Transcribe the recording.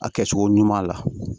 A kɛcogo ɲuman la